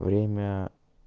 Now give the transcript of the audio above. время